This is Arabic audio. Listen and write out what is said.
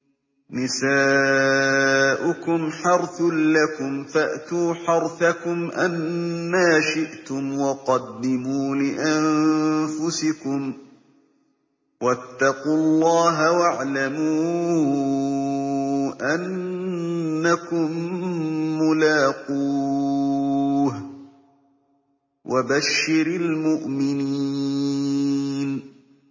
نِسَاؤُكُمْ حَرْثٌ لَّكُمْ فَأْتُوا حَرْثَكُمْ أَنَّىٰ شِئْتُمْ ۖ وَقَدِّمُوا لِأَنفُسِكُمْ ۚ وَاتَّقُوا اللَّهَ وَاعْلَمُوا أَنَّكُم مُّلَاقُوهُ ۗ وَبَشِّرِ الْمُؤْمِنِينَ